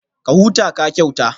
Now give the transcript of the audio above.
Ka huta, ka kyauta